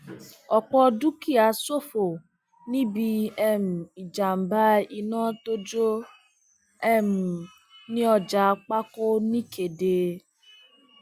ọpọ dúkìá ṣòfò níbi um ìjàmbá iná tó jó um ní ọjà pákó ní kéde